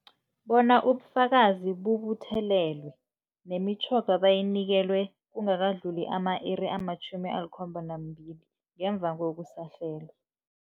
Bona ubufakazi bubuthelelwe, nemitjhoga bayinikelwe kungakadluli ama-iri ama-72 ngemva kokusahlelwa.